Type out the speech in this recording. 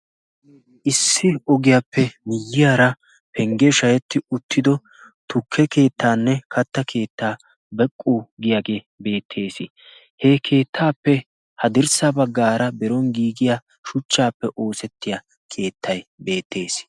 issi ogiyaappe miyyiyaara penggee shahetti uttido tukke keettaanne katta keettaa beqqo giyaagee beettees he keettaappe ha dirssa baggaara beron giigiya shuchchaappe oosettiya keettay beettees